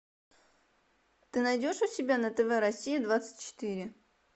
ты найдешь у себя на тв россия двадцать четыре